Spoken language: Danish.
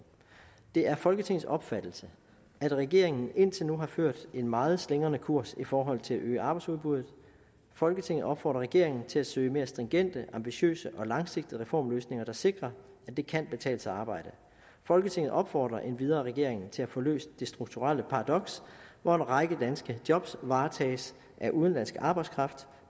det er folketingets opfattelse at regeringen indtil nu har ført en meget slingrende kurs i forhold til at øge arbejdsudbuddet folketinget opfordrer regeringen til at søge mere stringente ambitiøse og langsigtede reformløsninger der sikrer at det kan betale sig at arbejde folketinget opfordrer endvidere regeringen til at få løst det strukturelle paradoks hvor en række danske job varetages af udenlandsk arbejdskraft